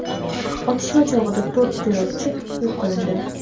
Otishma chog‘ida to‘rt terrorchi yo‘q qilindi.